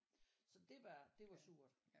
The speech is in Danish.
Så det var det var surt